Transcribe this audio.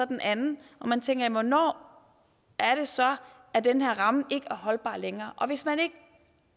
den anden og man tænker at hvornår er det så at den her ramme ikke er holdbar længere og hvis man ikke